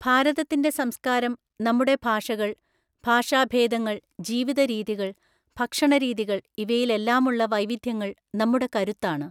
ഭാരതത്തിന്റെ സംസ്കാരം, നമ്മുടെ ഭാഷകള്‍, ഭഷാഭേദങ്ങള്‍, ജീവിതരീതികള്‍, ഭക്ഷണരീതികള്‍ ഇവയിലെല്ലാമുള്ള വൈവിധ്യങ്ങള്‍ നമ്മുടെ കരുത്താണ്.